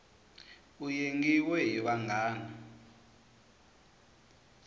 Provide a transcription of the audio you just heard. u yengiwe hi vanghana